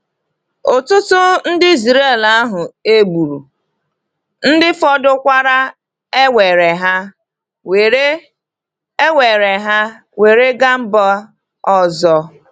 Ụtụtụ ndị Israeli ahụ e gburu, ndị fọdụrụkwa ewere ha were ewere ha were gaa mba ọzọ.